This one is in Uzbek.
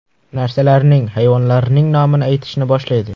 Narsalarning, hayvonlarning nomini aytishni boshlaydi.